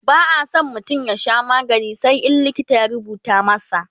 ba'a San mutum ya Sha magani sai in likita ya rubuta masa